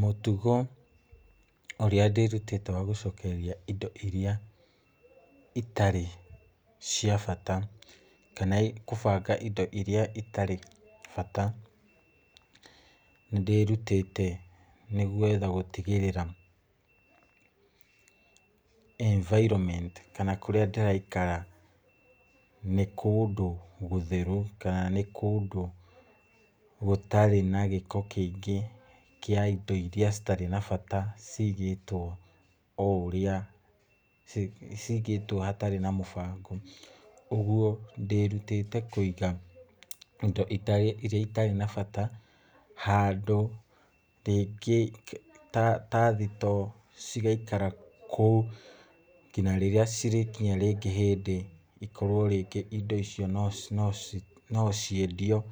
Mũtugo ũrĩa ndĩrutĩte wa gũcokereria indo iria itari cia bata, kana kũbanga indo iria itarĩ bata, nĩ ndĩrutĩte nĩguo gwetha gũtigĩrĩra environment kana kũrĩa ndĩraikara, nĩ kũndũ gũtheru, kana nĩ kũndũ gũtarĩ na gĩko kĩingĩ kĩa indo iria citarĩ na bata ciigĩtwo oũrĩa, cigĩtwo hatarĩ na mũbango. Ũguo, ndĩrutĩte kũiga indo iria itarĩ na bata handũ rĩngĩ ta thitoo, cigaikara kũu, nginya rĩrĩa cigakinya hĩndĩ cikorwo rĩngĩ indo icio no ciendio,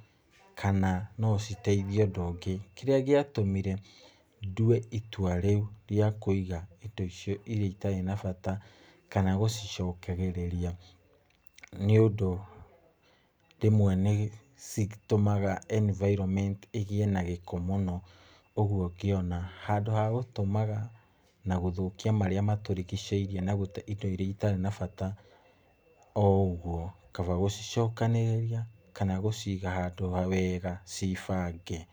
kana nociteithie ũndũ ũngĩ. Kĩrĩa gĩatũmĩre ndue itua rĩu, rĩa kũiga indo icio, iria itarĩ na bata, kana gũcicokagĩrĩria, nĩũndũ rĩmwe nĩ citũmaga environment ĩgĩe na gĩko mũno, ũguo ngĩona, handũ hagũtũmaga na gũthũkia marĩa matũrigicĩirie na indo iria itarĩ na bata o ũguo, kaba gũcicokanĩrĩria kana gũciga handũ wega ciĩbange.